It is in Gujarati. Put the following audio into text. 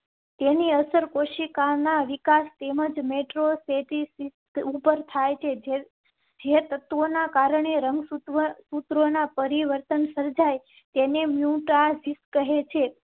તેની અસર કોશિકા ના વિકાસ તેમજ મેટ્રો સિટી ઉપર થાય છે. જે તત્વો ના કારણે રંગ સુત્રો ના પરિવર્તન સર્જાય તેને મ્યુટાજિન્સ કહે છે